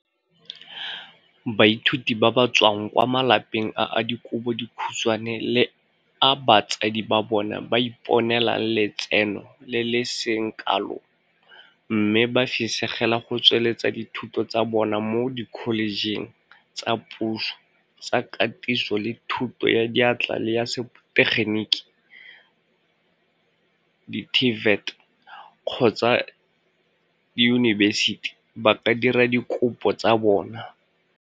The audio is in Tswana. Baithuti ba ba tswang kwa malapeng a a dikobo dikhutshwane le a batsadi ba bona ba iponelang letseno le le seng kalo mme ba fisegela go tsweletsa dithuto tsa bona mo dikholejeng tsa puso tsa Katiso le Thuto ya Diatla le ya Setegeniki di-TVET kgotsa diyunibesiti ba ka dira dikopo tsa bona.